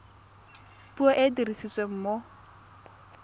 puo e e dirisiwang mo